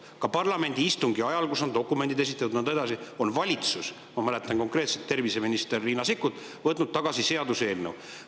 Ka parlamendi istungi ajal, kui dokumendid on esitatud ja nõnda edasi, on valitsus – ma mäletan, et konkreetselt terviseminister Riina Sikkut – seaduseelnõu tagasi võtnud.